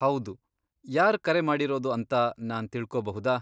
ಹೌದು, ಯಾರ್ ಕರೆ ಮಾಡಿರೋದು ಅಂತ ನಾನ್ ತಿಳ್ಕೊಬಹುದಾ?